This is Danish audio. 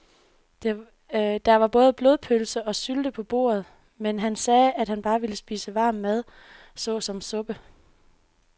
Der var både blodpølse og sylte på bordet, men han sagde, at han bare ville spise varm mad såsom suppe.